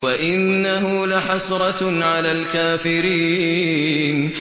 وَإِنَّهُ لَحَسْرَةٌ عَلَى الْكَافِرِينَ